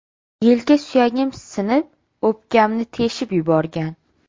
Yelka suyagim sinib, o‘pkamni teshib yuborgan.